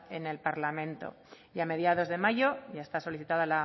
en el parlamento y a mediados de mayo ya está solicitada